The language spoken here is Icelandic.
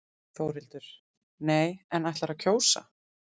Þórhildur: Nei, en ætlarðu að kjósa?